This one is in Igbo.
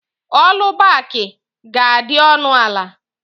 Ọlubaki ga-adị ọnụ ala